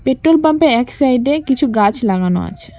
Petrol পাম্পের -এর এক সাইডে -এ কিছু গাছ লাগানো আছে।